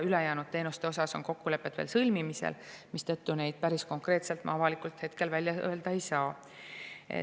Ülejäänud teenuste osas on kokkulepped veel sõlmimisel, mistõttu päris konkreetselt ma hetkel neid avalikult välja öelda ei saa.